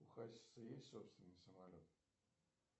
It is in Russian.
у хасиса есть собственный самолет